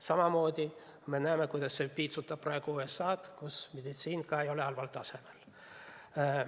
Samamoodi näeme, kuidas see piitsutab praegu USA-d, kus samuti meditsiin ei ole halval tasemel.